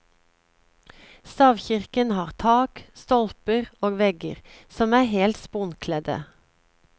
Stavkirken har tak, stolper og vegger som er helt sponkledde.